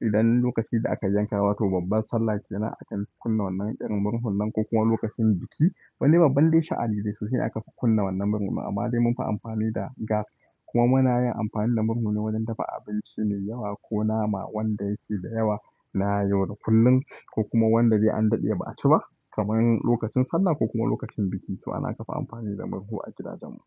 Idan lokaci da aka jankawa to babban Sallah kenan akan kunna wannan irin murhun nan ko kuma lokacin biki. Wani babban dai sha'ani dai sosai aka fi kunna wannan murhu. Amma dai munfi amfani da gas kuma muna yin amfani da murhu ne wajen dafa abinci mai yawa ko nama wanda yake da yawa na yau da kullum ko kuma wanda dai an daɗe ba a ci ba. Kaman lokacin Sallah ko kuma lokacin biki to ana kafa amfani da murhu a gidajen mu.